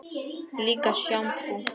Líka sjampó.